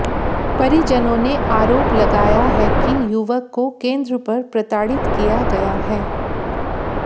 परिजनों ने आरोप लगाया है कि युवक को केंद्र पर प्रताड़ित किया गया है